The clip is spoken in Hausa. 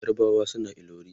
yarbawa suna ilori